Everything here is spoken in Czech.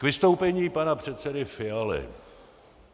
K vystoupení pana předsedy Fialy.